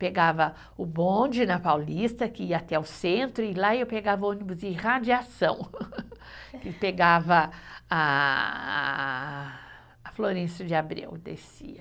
Pegava o bonde na Paulista, que ia até o centro, e lá eu pegava ônibus e radiação, e pegava a, a Florêncio de Abreu, descia.